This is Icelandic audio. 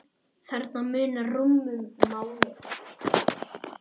Þarna munar rúmum mánuði.